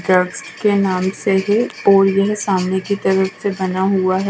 Church के नाम से ही सामने की तरफ से बना हुआ है।